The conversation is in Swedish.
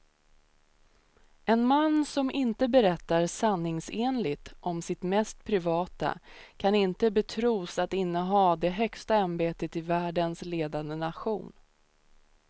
En man som inte berättar sanningsenligt om sitt mest privata kan inte betros att inneha det högsta ämbetet i världens ledande nation.